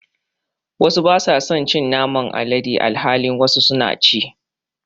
wasu basa son cin Naman alade alhalin wasu suna ci.